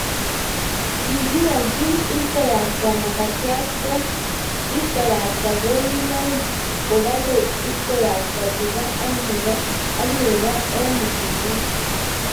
kikiwolchi ipkoyakata makt kwo ipkoyakata konunoik kokale ipkoyakata tuka ak neko en elinywa